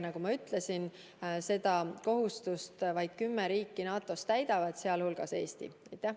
Nagu ma ütlesin, seda kohustust täidab vaid kümme riiki NATO-s, sh Eesti.